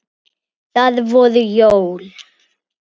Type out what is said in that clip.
Það voru jól.